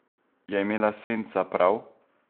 Je imela Senca prav?